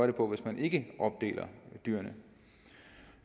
det på hvis man ikke opdeler dyrene